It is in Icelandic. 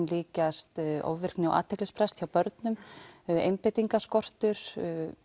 líkjast ofvirkni og athyglisbrest hjá börnum einbeitingarskortur